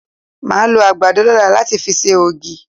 Màá lọ àgbàdo lọ́la láti fi ṣe ògì.